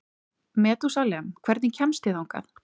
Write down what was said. Methúsalem, hvernig kemst ég þangað?